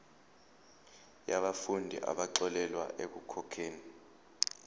yabafundi abaxolelwa ekukhokheni